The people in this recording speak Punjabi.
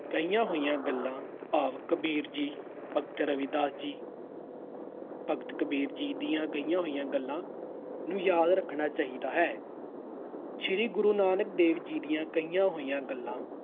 ਕਹੀਆਂ ਹੋਈਆਂ ਗੱਲਾਂ ਭਾਵ ਕਬੀਰ ਜੀ, ਭਗਤ ਰਵਿਦਾਸ ਜੀ, ਭਗਤ ਕਬੀਰ ਜੀ ਦੀਆਂ ਕਹੀਆਂ ਹੋਈਆਂ ਗੱਲਾਂ ਨੂੰ ਯਾਦ ਰੱਖਣਾ ਚਾਹੀਦਾ ਹੈ। ਸ੍ਰੀ ਗੁਰੂ ਨਾਨਕ ਦੇਵ ਜੀ ਦੀਆਂ ਕਹੀਆਂ ਹੋਈਆਂ ਗੱਲਾਂ